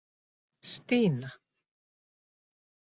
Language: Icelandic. Stína